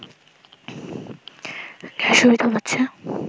gas সুবিধা পাচ্ছে